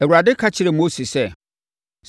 Awurade ka kyerɛɛ Mose sɛ,